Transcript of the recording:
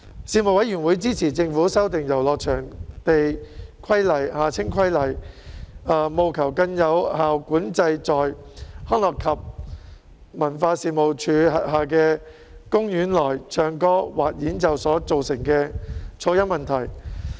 事務委員會支持政府修訂《遊樂場地規例》，務求更有效管制在康樂及文化事務署轄下的公園內唱歌或演奏所造成的噪音問題。